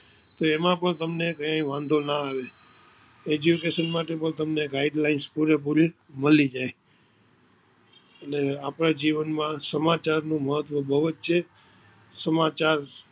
એમાં પણ તમને વાંધો ના આવે education માટે પણ તમને guideline પૂરેપૂરી મળી જાય આપના જીવન માં સમાચાર નું મહત્વ બોવ જ છે. સમાચાર